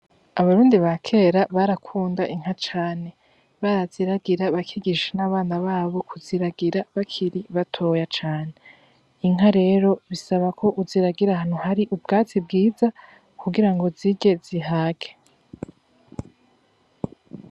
Abarundi ba kera barakunda inka cane, baraziragira bakigisha n'abana babo kuziragira bakiri batoya cane. Inka rero bisaba ko uziragira ahantu hari ubwatsi bwiza kugira ngo zirye zihage.